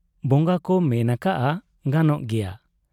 ᱵᱚᱝᱜᱟ ᱠᱚ ᱢᱮᱱ ᱟᱠᱟᱜ ᱟ, ᱜᱟᱱᱚᱜ ᱜᱮᱭᱟ ᱾